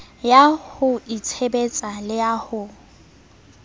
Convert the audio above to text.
ya ho itshebetsa le ho